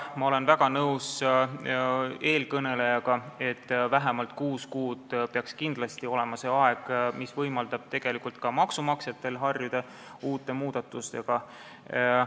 Ma olen väga nõus eelkõnelejaga, et vähemalt kuus kuud peaks kindlasti olema see aeg, see võimaldab tegelikult ka maksumaksjatel muudatustega harjuda.